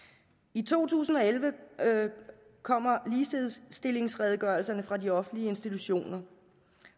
i to tusind og elleve kommer ligestillingsredegørelserne fra de offentlige institutioner